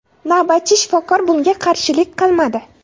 Navbatchi shifokor bunga qarshilik qilmadi.